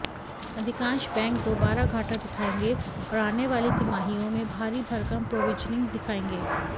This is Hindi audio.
अधिकांश बैंक दोबारा घाटा दिखाएंगे और आने वाली तिमाहियों में भारी भरकम प्रोविजनिंग दिखाएंगे